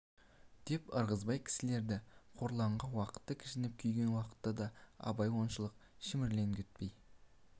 деп ырғызбай кісілері қорланған уақытта кіжініп күйген уақытта да абай оншалық шіміркенбейтін